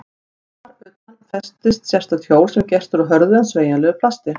Þar utan á festist sérstakt hjól sem gert er úr hörðu en sveigjanlegu plasti.